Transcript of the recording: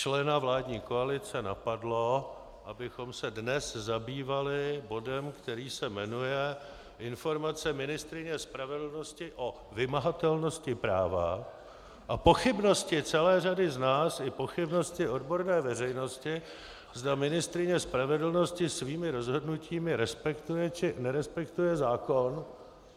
Člena vládní koalice napadlo, abychom se dnes zabývali bodem, který se jmenuje Informace ministryně spravedlnosti o vymahatelnosti práva, a pochybnosti celé řady z nás i pochybnosti odborné veřejnosti, zda ministryně spravedlnosti svými rozhodnutími respektuje, či nerespektuje zákon,